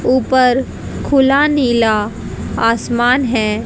ऊपर खुला नीला आसमान है।